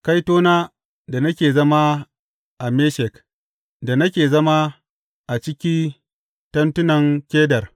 Kaitona da nake zama a Meshek, da nake zama a ciki tentunan Kedar!